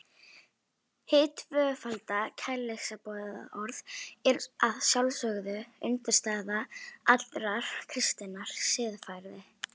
Hið tvöfalda kærleiksboðorð er að sjálfsögðu undirstaða allrar kristinnar siðfræði.